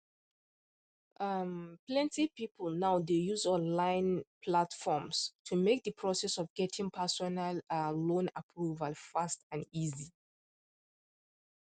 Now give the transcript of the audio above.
um plenty people now dey use online um platforms to make the process of getting personal um loan approval fast and easy